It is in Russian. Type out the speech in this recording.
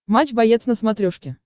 матч боец на смотрешке